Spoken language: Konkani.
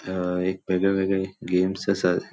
थय एक वेगळेवेगळे गेम्स असात.